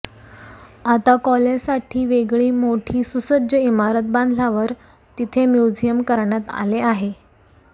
आता कॉलेजसाठी वेगळी मोठी सुसज्ज इमारत बांधल्यावर तिथे म्युझियम करण्यात आले आहे